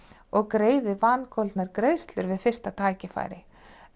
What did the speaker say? og greiði vangoldnar greiðslur við fyrsta tækifæri